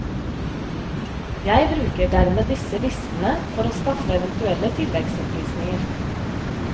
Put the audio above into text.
Jeg bruker dermed disse listene for å skaffe eventuelle tilleggsopplysninger.